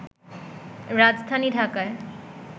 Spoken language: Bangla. রাজধানী ঢাকায়